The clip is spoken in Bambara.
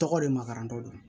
Tɔgɔ de magarantɔ don